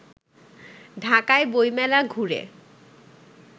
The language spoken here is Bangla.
ঢাকায় বইমেলা ঘুরে